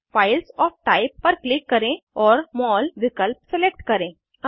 files of type पर click करें और मोल विकल्प सिलेक्ट करें